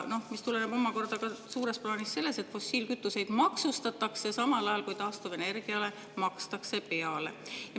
See tuleneb omakorda suures plaanis sellest, et fossiilkütuseid maksustatakse, samal ajal kui taastuvenergiale makstakse peale.